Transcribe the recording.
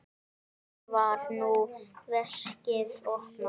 Þar var nú veskið opnað.